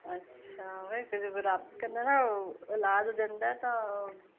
ਅੱਛਾ ਕਹਿੰਦੇ ਆ ਨਾ ਔਲਾਦ ਦੰਦਾਂ ਤਾ